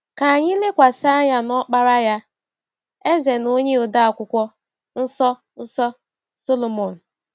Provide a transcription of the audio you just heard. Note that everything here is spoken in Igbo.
Ka anyị lekwasị anya n’ọkpara ya — eze na onye ode Akwụkwọ Nsọ Nsọ — Sọlọmọn.